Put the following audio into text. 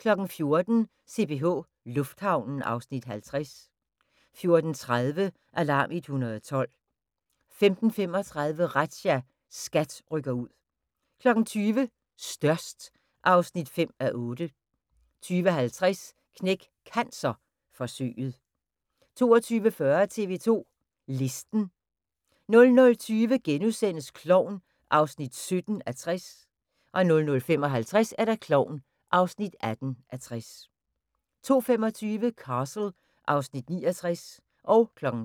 14:00: CPH Lufthavnen (Afs. 50) 14:30: Alarm 112 15:35: Razzia – SKAT rykker ud 20:00: Størst (5:8) 20:50: Knæk Cancer: Forsøget 22:40: TV 2 Listen 00:20: Klovn (17:60)* 00:55: Klovn (18:60) 02:25: Castle (Afs. 69)